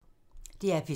DR P3